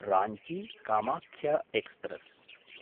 राञ्ची–कामाख्य express